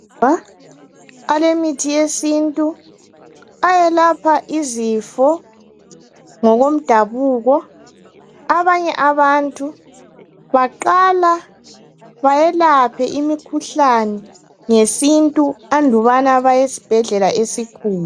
Balemithi yesintu eyelapha izifo ngokomdabuko. Abanye abantu baqale bayelaphe imikhuhlane ngesintu andubana baye esibhedlela esikhulu.